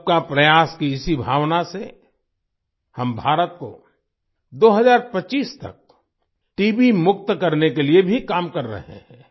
सबका प्रयास की इसी भावना से हम भारत को 2025 तक टीबी मुक्त करने के लिए भी काम कर रहे हैं